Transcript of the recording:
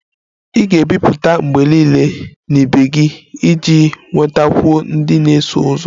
Ị ga-ebipụta mgbe niile na ibe gị iji nwetakwuo ndị na-eso ụzọ